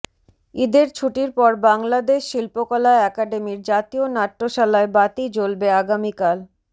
ঈদের ছুটির পর বাংলাদেশ শিল্পকলা একাডেমির জাতীয় নাট্যশালায় বাতি জ্বলবে আগামীকাল